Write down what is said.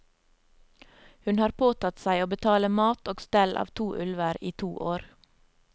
Hun har påtatt seg å betale mat og stell av to ulver i to år.